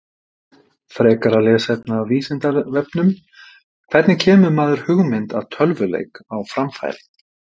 Frekara lesefni af Vísindavefnum: Hvernig kemur maður hugmynd að tölvuleik á framfæri?